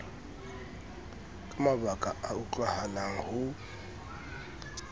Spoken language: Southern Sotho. ka mabaka a utlwahalang ho